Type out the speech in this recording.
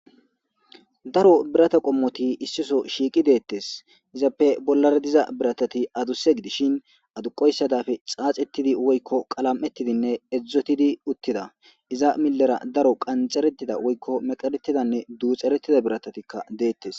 daro birata qommoti issiso shiiqi deettes izappe bollara diza biratati aduse gidishin aduqoyssadafe xaaxettidi woykko qalam7ettidinne edzdzotidi uttida iza millera daro qanxeretida woykko meqeretidanne duuxeretida biratatikka deettes